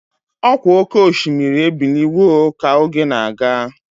Ọkwa oké osimiri ebiliwo ka oge na-aga.